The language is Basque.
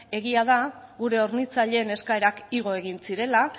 egia da gure hornitzaileen eskaerak igo egin zirela